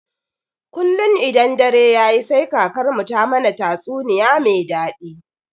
Kullun idan dare yayi sai kakarmu ta mana tatsuniya me daɗi.